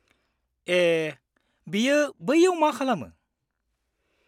ए, बियो बैयाव मा खालामो?